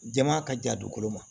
Jama ka jan dugukolo ma